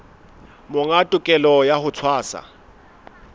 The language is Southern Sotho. monga tokelo ya ho tshwasa